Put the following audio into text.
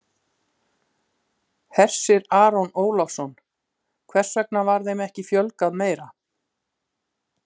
Hersir Aron Ólafsson: Hvers vegna var þeim ekki fjölgað meira?